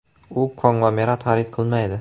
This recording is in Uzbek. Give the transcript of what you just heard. U konglomerat xarid qilmaydi.